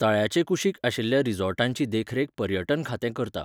तळ्याचे कुशीक आशिल्ल्या रिसॉर्टांची देखरेख पर्यटन खातें करता.